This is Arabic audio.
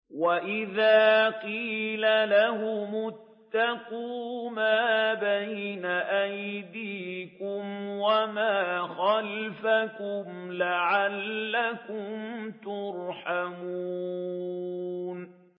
وَإِذَا قِيلَ لَهُمُ اتَّقُوا مَا بَيْنَ أَيْدِيكُمْ وَمَا خَلْفَكُمْ لَعَلَّكُمْ تُرْحَمُونَ